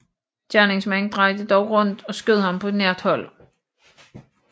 Gerningsmanden drejede dog rundt og skød ham på nært hold